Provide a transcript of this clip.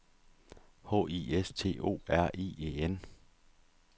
H I S T O R I E N